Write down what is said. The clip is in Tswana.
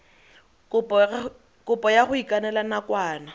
kopo ya go ikanela nakwana